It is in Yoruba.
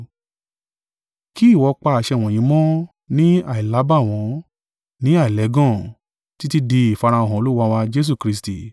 kí ìwọ pa àṣẹ wọ̀nyí mọ́ ní àìlábàwọ́n, ní àìlẹ́gàn, títí di ìfarahàn Olúwa wa Jesu Kristi.